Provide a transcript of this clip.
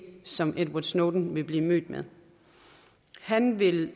som edward snowden vil blive mødt med han vil